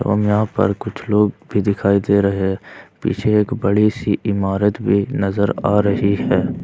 एवं यहां पर कुछ लोग भी दिखाई दे रहे हैं पीछे एक बड़ी सी इमारत भी नजर आ रही है।